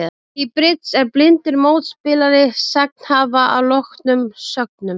Í bridds er blindur mótspilari sagnhafa að loknum sögnum.